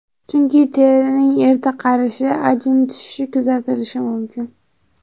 Chunki terining erta qarishi, ajin tushishi kuzatilishi mumkin.